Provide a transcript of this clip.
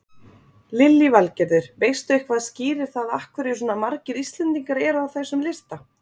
Lillý Valgerður: Veistu eitthvað skýrir það af hverju svona margir Íslendingar eru á þessum lista?